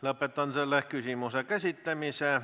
Lõpetan selle küsimuse käsitlemise.